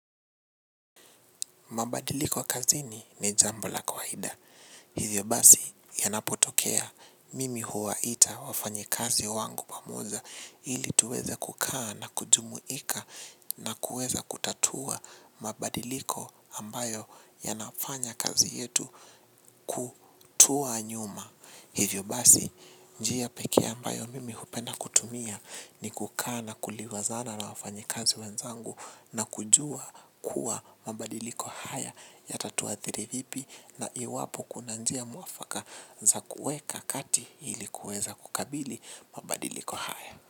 Mabadiliko kazini ni jambo la kawaida. Hivyo basi yanapotokea mimi huwaita wafanyikazi wangu pamoja ili tuweza kukaa na kujumuika na kuweza kutatua mabadiliko ambayo yanafanya kazi yetu kutua nyuma. Hivyo basi, njia pekee ambayo mimi hupenda kutumia ni kukaa na kuliwazana na wafanyikazi wenzangu na kujua kuwa mabadiliko haya yatatuathiri vipi na iwapo kuna njia mwafaka za kuweka kati ili kuweza kukabili mabadiliko haya.